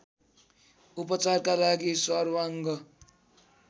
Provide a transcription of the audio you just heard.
उपचारका लागि सर्वाङ्ग